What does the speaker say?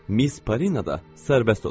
Miss Parina da sərbəst olacaq.